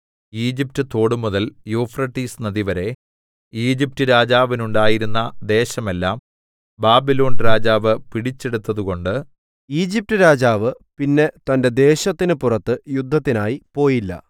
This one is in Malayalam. ഈജിപ്റ്റ് തോടുമുതൽ യൂഫ്രട്ടീസ് നദിവരെ ഈജിപ്റ്റ് രാജാവിനുണ്ടായിരുന്ന ദേശമെല്ലാം ബാബിലോൺരാജാവ് പിടിച്ചെടുത്തതുകൊണ്ട് ഈജിപ്റ്റ് രാജാവ് പിന്നീട് തന്റെ ദേശത്തിന് പുറത്ത് യുദ്ധത്തിനായി പോയില്ല